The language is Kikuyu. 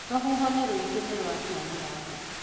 Rũhuho nĩ rũingĩ, nĩ rwa tua mũrango